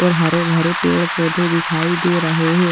और हरे भरे पेड़-पौधे दिखाई दे रहे हैं।